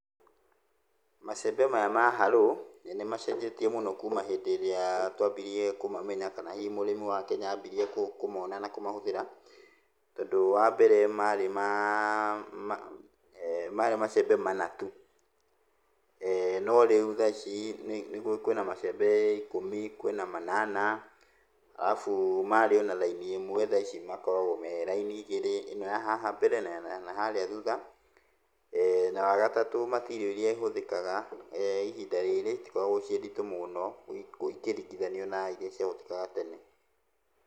Macembe maya ma hallow nĩmacenjetie mũno kuma hĩndĩ ĩrĩa twambirie kũmamenya kana hihi mũrĩmi wa Kenya ambirie kũmona na kũmahũthĩra, tondũ wambere marĩ maa marĩ macembe mana tu. No rĩu thaa ici kwĩna macembe ikũmi, kwĩna manana. Arabu marĩ ona raini ĩmwe, thaa ici makoragwo me raini igĩrĩ. Ĩno ya haha mbere na yanaharĩa thutha. Na wagatatũ material iria ihũthĩkaga ihinda rĩrĩ itikoragwo ciĩ nditũ mũũno ikĩringithanio na iria ciahũthĩkaga tene.